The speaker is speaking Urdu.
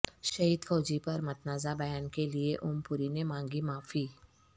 شہید فوجی پر متنازع بیان کے لئے اوم پوری نے مانگی معافی